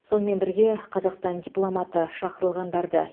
сонымен бірге қазақстан дипломаты шақырылғандарды